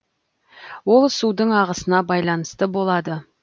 ол судың ағысына байланысты болады